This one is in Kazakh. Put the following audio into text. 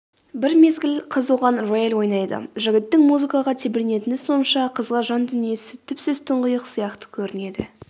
бір мезгіл қыз оған рояль ойнайды жігіттің музыкаға тебіренетіні сонша қызға жан дүниесі түпсіз тұңғиық сияқты көрінеді